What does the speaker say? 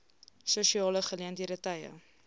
sosiale geleenthede tye